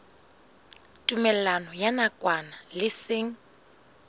tumellano ya nakwana le seng